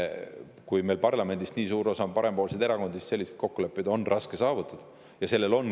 Kui meie parlamendis on nii suur osa parempoolsetel erakondadel, siis on selliseid kokkuleppeid raske saavutada.